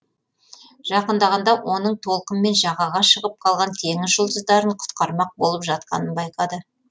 жақындағанда оның толқынмен жағаға шығып қалған теңіз жұлдыздарын құтқармақ болып жатқанын байқады